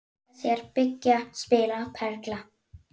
Leika sér- byggja- spila- perla